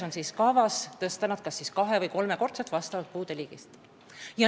On kavas tõsta need toetused olenevalt puude liigist kas kahe- või kolmekordseks.